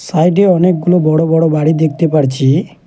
সাইডে অনেকগুলো বড় বড় বাড়ি দেখতে পারছি।